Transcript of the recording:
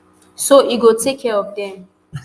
so e go take care of dem